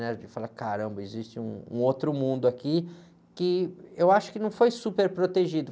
Né? Porque fala, caramba, existe um, um outro mundo aqui que eu acho que não foi super protegido.